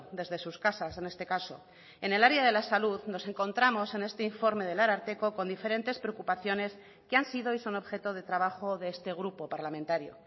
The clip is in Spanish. desde sus casas en este caso en el área de la salud nos encontramos en este informe del ararteko con diferentes preocupaciones que han sido y son objeto de trabajo de este grupo parlamentario